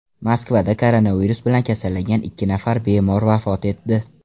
Moskvada koronavirus bilan kasallangan ikki nafar bemor vafot etdi.